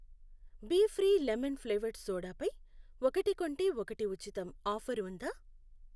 Be free lemon flavoured soda పై 'ఒకటి కొంటే ఒకటి ఉచితం' ఆఫరు ఉందా?